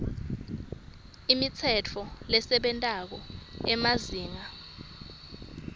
imitsetfo lesebentako emazinga